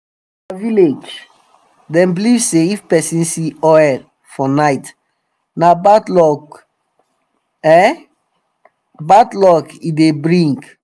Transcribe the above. for our village them believe say if persin see owl for night na bad luck e bad luck e dey bring.